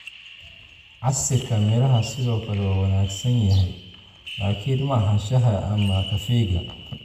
Casiirka miraha sidoo kale waa wanaagsan yahay laakiin ma aha shaaha ama kafeega.